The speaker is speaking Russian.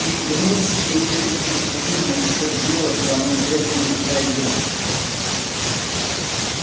и бросьте эту чепуху насчёт дела со мной это не пройдёт